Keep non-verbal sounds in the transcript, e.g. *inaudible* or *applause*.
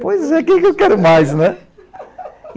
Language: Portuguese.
Pois é, o que eu quero mais, né? *laughs*